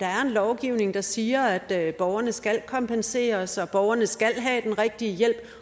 lovgivning der siger at borgerne skal kompenseres og at borgerne skal have den rigtige hjælp